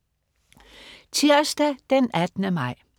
Tirsdag den 18. maj